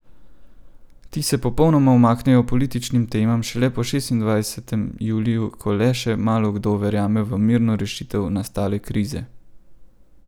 Ti se popolnoma umaknejo političnim temam šele po šestindvajsetem juliju, ko le še malokdo verjame v mirno rešitev nastale krize.